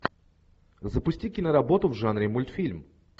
запусти киноработу в жанре мультфильм